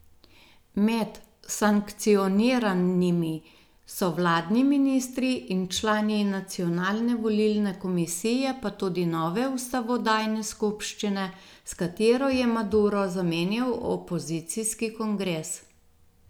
Med sankcioniranimi so vladni ministri in člani nacionalne volilne komisije pa tudi nove ustavodajne skupščine, s katero je Maduro zamenjal opozicijski kongres.